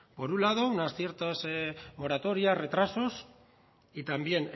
por un lado unas ciertas moratorias retrasos y también